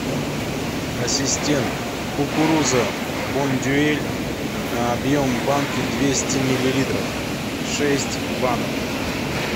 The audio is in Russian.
ассистент кукуруза бондюэль объем банки двести миллилитров шесть банок